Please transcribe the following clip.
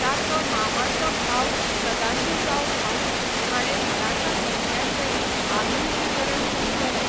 ताचो मामाचो भाव सदाशिवराव भाऊ हाणें मराठा सैन्याचें आधुनिकीकरण सुरू केलें.